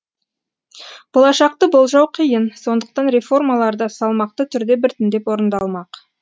болашақты болжау қиын сондықтан реформалар да салмақты түрде біртіндеп орындалмақ